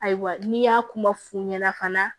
Ayiwa n'i y'a kuma f'u ɲɛna fana